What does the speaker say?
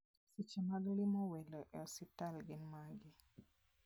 Seche mag limo welo e osiptal gin mage?